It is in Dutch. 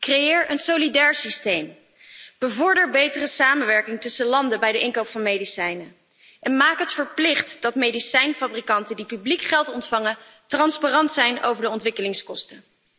Creëer een solidair systeem, bevorder betere samenwerking tussen landen bij de inkoop van medicijnen en maak het verplicht dat medicijnfabrikanten die publiek geld ontvangen transparant zijn over de ontwikkelingskosten.